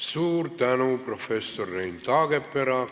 Suur tänu, professor Rein Taagepera!